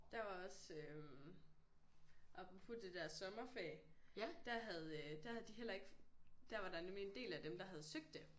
Der var også øh apropos det der sommerferie der havde øh der havde de heller ikke der var der nemlig en del af dem der havde søgt det